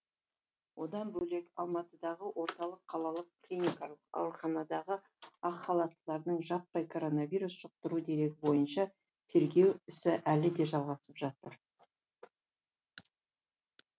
одан бөлек алматыдағы орталық қалалық клиникалық ауруханадағы ақ халаттылардың жаппай коронавирус жұқтыру дерегі бойынша тергеу ісі әлі де жалғасып жатыр